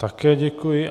Také děkuji.